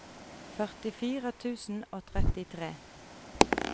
førtifire tusen og trettitre